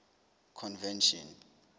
convention